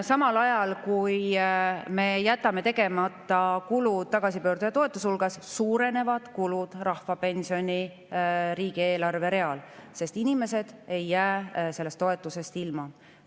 Samal ajal, kui me jätame tegemata kulutused tagasipöörduja toetusele, suurenevad kulud rahvapensioni riigieelarve real, sest inimesed ei jää sellest toetusest ilma.